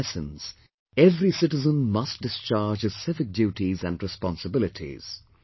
In essence, every citizen must discharge his civic duties and responsibilities